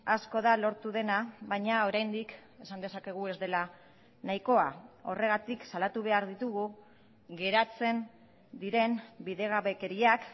asko da lortu dena baina oraindik esan dezakegu ez dela nahikoa horregatik salatu behar ditugu geratzen diren bidegabekeriak